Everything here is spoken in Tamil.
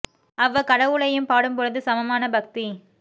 அவ்வக் கடவுளையும் பாடும்பொழுது சமமான பக்தி